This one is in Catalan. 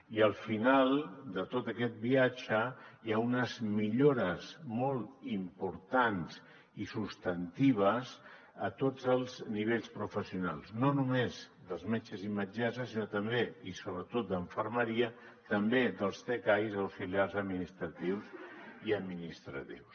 i al final de tot aquest viatge hi ha unes millores molt importants i substantives a tots els nivells professionals no només dels metges i metgesses sinó també i sobretot d’infermeria també dels tcais auxiliars administratius i administratius